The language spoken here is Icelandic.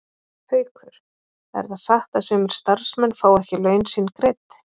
Haukur: Er það satt að sumir starfsmenn fái ekki laun sín greidd?